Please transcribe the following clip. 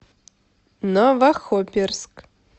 новохоперск